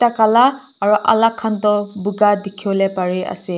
kala aru alag khan tu boga dekhi bole pari ase.